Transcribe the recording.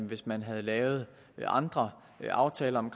hvis man havde lavet andre aftaler om